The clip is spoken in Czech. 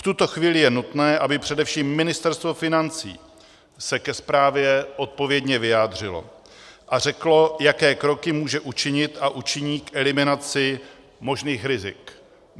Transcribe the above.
V tuto chvíli je nutné, aby především Ministerstvo financí se ke zprávě odpovědně vyjádřilo a řeklo, jaké kroky může učinit a učiní k eliminaci možných rizik.